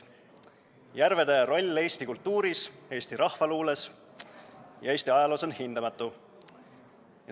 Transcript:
Järvede roll eesti kultuuris, eesti rahvaluules ja Eesti ajaloos on hindamatu.